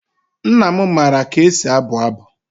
Nna m maara ka e si abụ abụ.